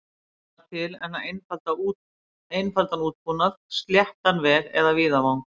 Ekki þarf annað til en einfaldan útbúnað, sléttan veg eða víðavang.